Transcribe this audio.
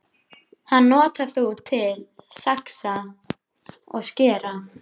Hann notar þú til að saxa og skera.